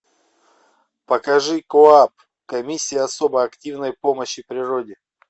покажи коапп комиссия особо активной помощи природе